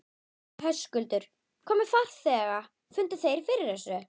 Höskuldur: Hvað með farþega, fundu þeir fyrir þessu?